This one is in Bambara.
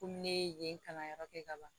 Komi ne ye yen kalanyɔrɔ kɛ ka ban